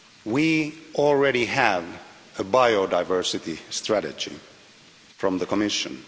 We already have a biodiversity strategy from the Commission.